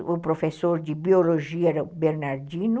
E o professor de biologia era o Bernardino,